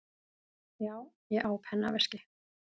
Já, ég á pennaveski.